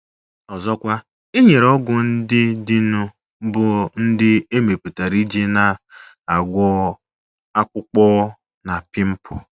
Ọzọkwa, e nwere ọgwụ ndị dịnụ bụ́ ndị e mepụtara iji na - agwọ akpụkpọ na pịmpụl.